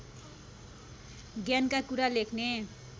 ज्ञानका कुरा लेख्ने